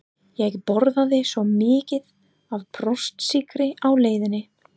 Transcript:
Ég borðaði svo mikið af brjóstsykri á leiðinni